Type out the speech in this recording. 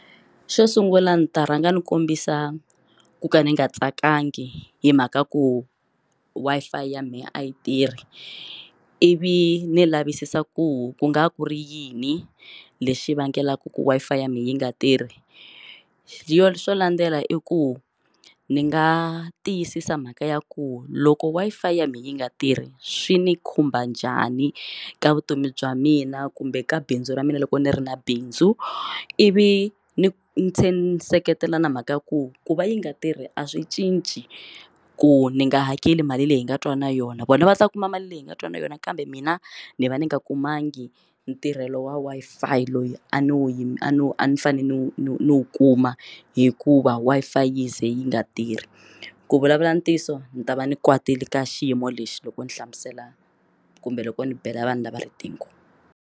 Xo sungula ndzi ta rhanga ndzi kombisa ku ka ni nga tsakangi hi mhaka ya ku Wi-Fi ya mehe a yi tirhi ivi ni lavisisa ku ku nga va ku ri yini lexi vangelaka ku Wi-Fi ya mina yi nga tirhi yo xo landzela i ku ndzi nga tiyisisa mhaka ya ku loko Wi-Fi ya mina yi nga tirhi swi ni khumba njhani ka vutomi bya mina kumbe ka bindzu ra mina loko ni ri na bindzu ivi ni ni se ni seketela na mhaka ya ku ku va yi nga tirhi a swi cinci ku ni nga hakeli mali leyi hi nga twana yona vona va ta kuma mali leyi hi nga twana yona kambe mina ni va ni nga kumangi ntirhelo wa Wi-Fi loyi a no yi a no a ni fanele no no no kuma hikuva Wi-Fi yi ze yi nga tirhi ku vulavula ntiyiso ni ta va ni kwatile ka xiyimo lexi loko ni hlamusela kumbe loko ni bela vanhu lava riqingho.